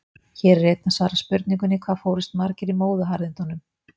Hér er einnig svarað spurningunni: Hvað fórust margir í móðuharðindunum?